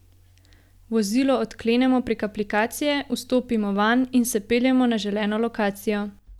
Vozilo odklenemo prek aplikacije, vstopimo vanj in se peljemo na želeno lokacijo.